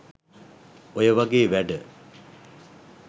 ඔය වගේ වැඩ